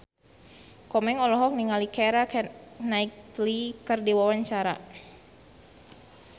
Komeng olohok ningali Keira Knightley keur diwawancara